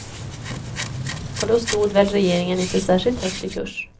Och då stod väl regeringen inte särskilt högt i kurs.